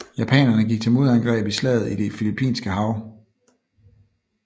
Japanerne gik til modangreb i Slaget i det Filippinske hav